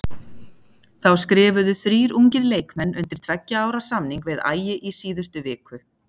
Þá skrifuðu þrír ungir leikmenn undir tveggja ára samning við Ægi í síðustu viku.